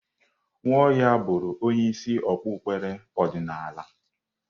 Nwaohia bụrụ onye isi okpukpere ọdịnala.